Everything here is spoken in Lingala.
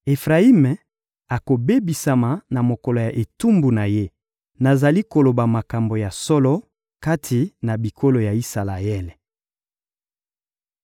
Efrayimi akobebisama na mokolo ya etumbu na ye. Nazali koloba makambo ya solo kati na bikolo ya Isalaele.